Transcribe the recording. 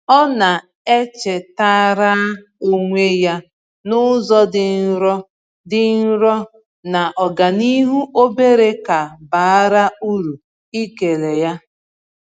Ọ na-echetaara onwe ya n’ụzọ dị nro dị nro na ọganihu obere ka bara uru ịkele ya.